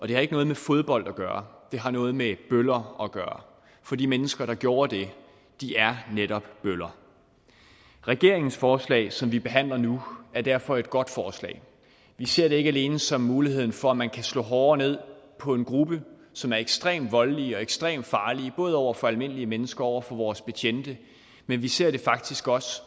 det har ikke noget med fodbold at gøre det har noget med bøller at gøre for de mennesker der gjorde det er netop bøller regeringens forslag som vi behandler nu er derfor et godt forslag vi ser det ikke alene som muligheden for at man kan slå hårdere ned på en gruppe som er ekstremt voldelig og ekstremt farlig både over for almindelige mennesker og over for vores betjente men vi ser det faktisk også